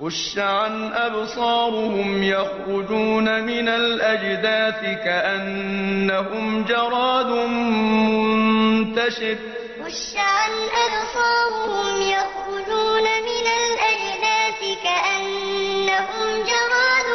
خُشَّعًا أَبْصَارُهُمْ يَخْرُجُونَ مِنَ الْأَجْدَاثِ كَأَنَّهُمْ جَرَادٌ مُّنتَشِرٌ خُشَّعًا أَبْصَارُهُمْ يَخْرُجُونَ مِنَ الْأَجْدَاثِ كَأَنَّهُمْ جَرَادٌ